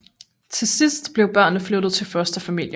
Til sidst blev børnene flyttet til fosterfamilier